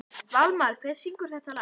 Valmar, hver syngur þetta lag?